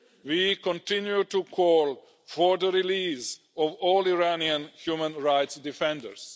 We continue to call for the release of all Iranian human rights defenders.